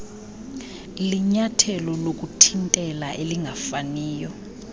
linyathelo lokuthintela elingafaniyo